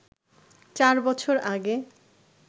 চার বছর আগে